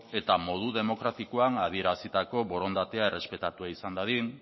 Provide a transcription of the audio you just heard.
eta modu demokratikoan adierazitako borondatea errespetatua izan dadin